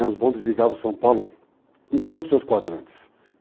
Os bondes ligavam São Paulo em todos os seus quadrantes.